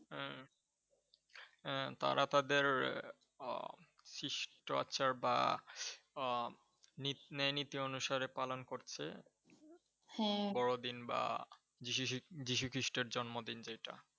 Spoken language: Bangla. আহ হ্যাঁ, তারা তাদের আহ খ্রিস্টাচার বা আহ ন্যায় নি নীতি অনুসারে পালন করছে, বড়দিন বা যীশু খ্রিস্টের জন্ম দিন যেইটা।